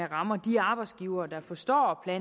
ramme de arbejdsgivere der forstår at